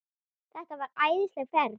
Þetta var æðisleg ferð.